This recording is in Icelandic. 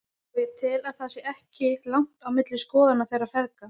Og ég tel að það sé ekki langt á milli skoðana þeirra feðga.